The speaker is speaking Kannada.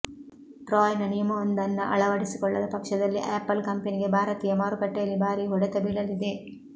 ಟ್ರಾಯ್ ನ ನಿಯಮವೊಂದನ್ನ ಅಳವಡಿಸಿಕೊಳ್ಳದ ಪಕ್ಷದಲ್ಲಿ ಆಪಲ್ ಕಂಪನಿಗೆ ಭಾರತೀಯ ಮಾರುಕಟ್ಟೆಯಲ್ಲಿ ಭಾರೀ ಹೊಡೆತ ಬೀಳಲಿದೆ